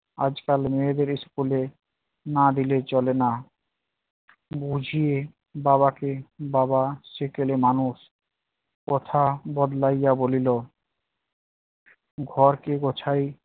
আজকাল মেয়েদের school এ না দিলে চলে না, বুঝিয়ে বাবাকে বাবা সেকেলে মানুষ। কথা বদলাইয়া বলিল- ঘর কে গোছায়